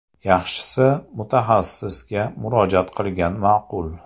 Yaxshisi, mutaxassisga murojaat qilgan ma’qul.